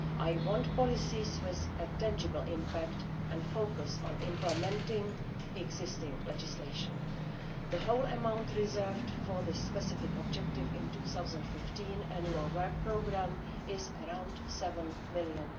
I want policies with a tangible impact and a focus on implementing existing legislation. The whole amount reserved for this specific objective in the 2015 Annual Work Programme is around EUR 7 million.